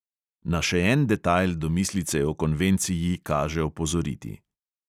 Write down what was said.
Na še en detajl domislice o konvenciji kaže opozoriti.